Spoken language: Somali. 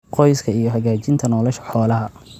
qoyska iyo hagaajinta nolosha xoolaha.